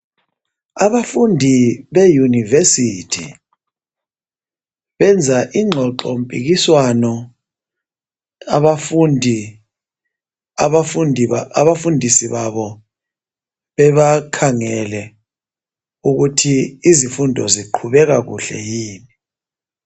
Abafundi be yunivesithi benza ingxoxo mpikiswano abafundi, abafundisi babo bebakhangele ukuthi izifundo ziqhubeka kuhle yini.